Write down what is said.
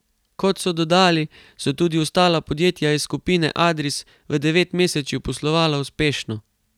Kot so dodali, so tudi ostala podjetja iz skupine Adris v devetmesečju poslovala uspešno.